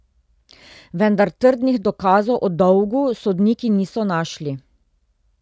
Vendar trdnih dokazov o dolgu sodniki niso našli.